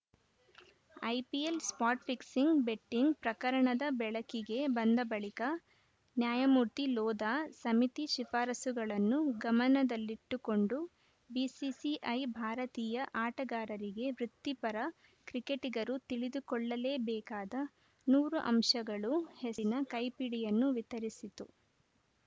IPL spot fixing betting ಪ್ರಕರಣದ ಬೆಳಕಿಗೆ ಬಂದ ಬಳಿಕ ನ್ಯಾಯಮೂರ್ತಿ ಲೋಧಾ ಸಮಿತಿ ಶಿಫಾರಸುಗಳನ್ನು ಗಮನದಲ್ಲಿಟ್ಟುಕೊಂಡು ಬಿಸಿಸಿಐ ಭಾರತೀಯ ಆಟಗಾರರಿಗೆ ವೃತಿಪರ ಕ್ರಿಕೆಟಿಗರು ತಿಳಿದುಕೊಳ್ಳಲೇಬೇಕಾದ ನೂರು ಅಂಶಗಳು ಹೆರಿನ ಕೈಪಿಡಿಯನ್ನು ವಿತರಿಸಿತು